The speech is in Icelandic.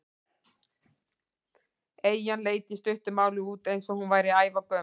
Eyjan leit í stuttu máli út eins og hún væri ævagömul.